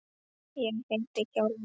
Ég heiti Hjálmar